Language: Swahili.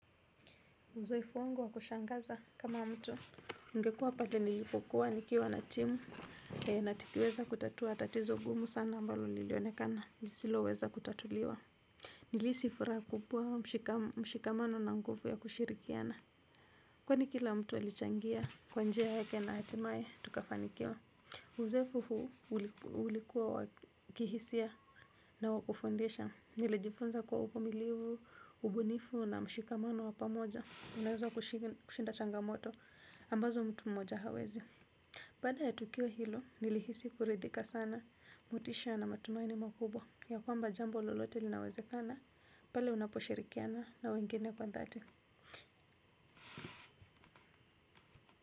Uzoefu wangu wa kushangaza kama mtu ningekua pate nilipokuwa nikiwa na timu na tukiweza kutatua tatizo gumu sana ambalo lilionekana nilisilo weza kutatuliwa. Nilisi fura kupua mshikamano na mguvu ya kushirikiana. Kwani kila mtu alichangia kwa njia yake na hatimaye tukafanikiwa. Uzoefu huu ulikuwa wakihisia na wakufundisha nilijifunza kuwa uvumilivu, ubunifu na mshikamano wapamoja unaheza kushinda changamoto ambazo mtu mmoja hawezi pada ya tukiwo hilo nilihisi kuridhika sana motisha na matumaini makubwa ya kwamba jambo lolote linawezekana pale unaposhirikiana na wengine kwa dhati.